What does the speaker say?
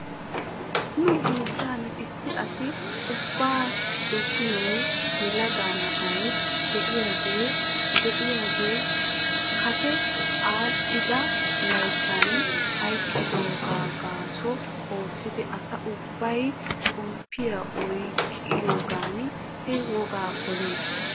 Nu biittan issi asi ubbi dossiyoo yelaga na'ay diyaagee diyaagee kase aadhdhida layttan hayqqidoogaa gaaso oottidi asa ubbay xomppiyaa oyqqiyoogan he wogaa pelis.